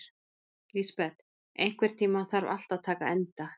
Lisbeth, einhvern tímann þarf allt að taka enda.